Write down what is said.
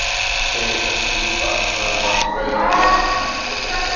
Segir þær djúpar, næmar, draugalegar og þungar.